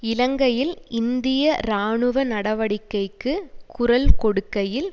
இலங்கையில் இந்திய இராணுவ நடவடிக்கைக்கு குரல் கொடுக்கையில்